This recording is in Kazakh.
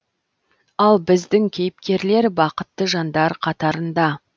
ал біздің кейіпкерлер бақытты жандар қатарында